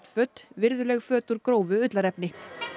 föt virðuleg föt úr grófu ullarefni